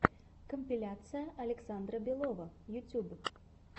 компиляция александра белова ютьюб